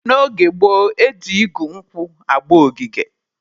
N'oge gboo, eji igu nkwụ agba ogige.